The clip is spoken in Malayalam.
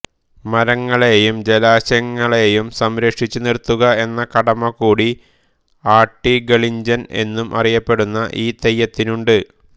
മരങ്ങളേയും ജലാശങ്ങളേയും സംരക്ഷിച്ചു നിർത്തുക എന്ന കടമ കൂടി ആട്ടിഗളിഞ്ചൻ എന്നും അറിയപ്പെടുന്ന ഈ തെയ്യത്തിനുണ്ട്